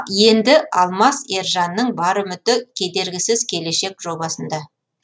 енді алмаз ержанның бар үміті кедергісіз келешек жобасында